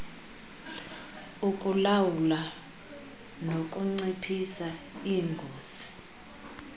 ukulawula nokunciphisa ingozi